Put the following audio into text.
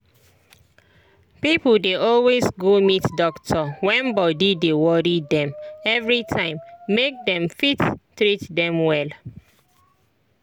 pipo dey always go meet doctor wen body dey worry dem everytime make dem fit treat them well.